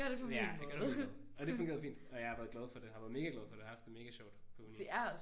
Ja jeg gør det på min måde. Og det har fungeret fint og jeg har været glad for det. Været mega glad for det og har haft det mega sjovt på uni